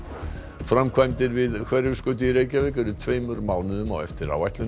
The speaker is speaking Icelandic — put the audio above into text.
framkvæmdir við Hverfisgötu í Reykjavík eru tveimur mánuðum á eftir áætlun